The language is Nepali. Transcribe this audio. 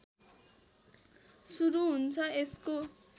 सुरु हुन्छ यसको